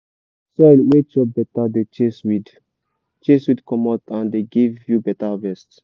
soil wey chop better dey chase weed chase weed comot and dey give you better harvest.